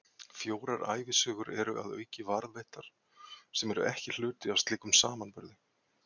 Fjórar ævisögur eru að auki varðveittar, sem eru ekki hluti af slíkum samanburði.